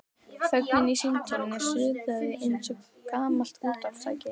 Þögnin í símtólinu suðaði eins og gamalt útvarpstæki.